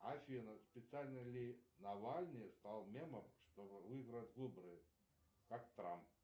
афина специально ли навальный стал мемом чтобы выиграть выборы как трамп